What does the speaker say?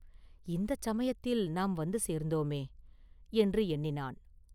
இந்தச் சமயத்தில் நாம் வந்து சேர்ந்தோமே’ என்று எண்ணினான்.